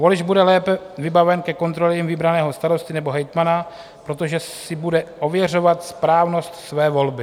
Volič bude lépe vybaven ke kontrole vybraného starosty nebo hejtmana, protože si bude ověřovat správnost své volby.